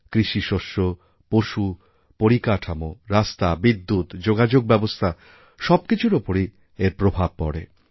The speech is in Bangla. কৃষিশস্য পশু পরিকাঠামো রাস্তা বিদ্যুৎ যোগাযোগ ব্যবস্থা সব কিছুর ওপরই এর প্রভাব পড়ে